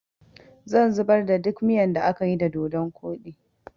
zan zubar da duk miyan da akayi da dodun koɗi